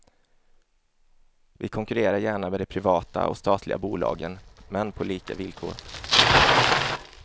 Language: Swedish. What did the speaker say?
Vi konkurrerar gärna med de privata och statliga bolagen, men på lika villkor.